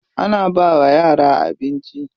Ana bawa yara abinci.